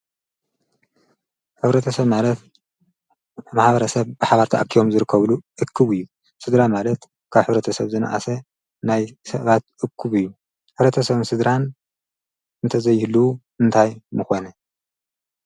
ኅብረተ ሰብ ማለት መሓብረ ሰብ ብሓባርተ ኣኪዮም ዝርከብሉ እኩቡ እዩ ሥድራ ማለት ካብ ኅብረተ ሰብ ዘንኣሰ ናይ ሰባት እኩብ እዩ ኅረተ ሰብም ስድራን እንተዘይህሉዉ እንታይ ምኾነ